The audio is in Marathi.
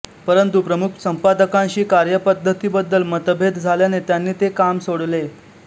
परंतु प्रमुख संपादकांशी कार्यपद्धतीबद्दल मतभेद झाल्याने त्यांनी ते काम सोडले